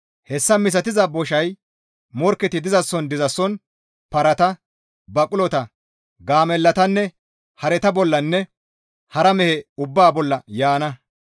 Hessa misatiza boshay morkketi dizason dizason, parata, baqulota, gaamellatanne hareta bollanne hara mehe ubbaa bolla yaana.